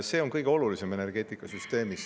See on kõige olulisem energeetikasüsteemis.